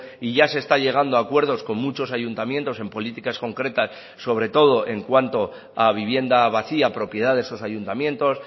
y ya se está llegando a acuerdos con muchos ayuntamientos en políticas concretas sobre todo en cuanto a vivienda vacía propiedad de esos ayuntamientos